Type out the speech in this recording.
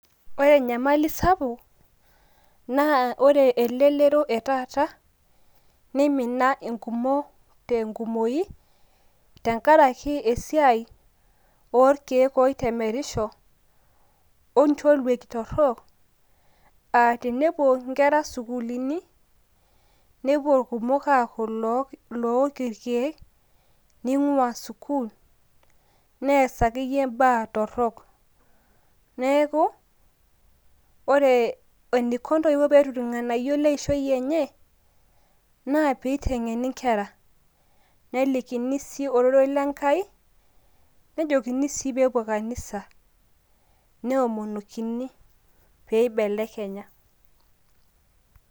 ore enyamali sapuk, naa ore elelero etaata ninima irkumok tenkumoi tenkaraki esiai orkeek oitemerisho, oncholieki torok, aa tenepuo nkera sukuuluni, nepuo irkumok aaku ilook irkeek, ning'ua sukuul, nees akeyie baa torok. neeku ore eneiko ntoiwuo pee etum irng'anayio leishoi enye, nee pee eiteng'eni nkera, nelikini sii orerei lenkai nejokini sii pee epuo kanisa, neomonokini pee eibelekenya.